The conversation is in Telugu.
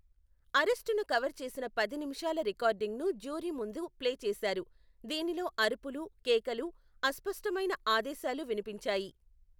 అరెస్టును కవర్ చేసిన పది నిమిషాల రికార్డింగ్ను జ్యూరీ ముందు ప్లే చేసారు, దీనిలో అరుపులు, కేకలు, అస్పష్టమైన ఆదేశాలు వినిపించాయి.